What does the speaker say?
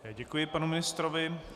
Děkuji panu ministrovi.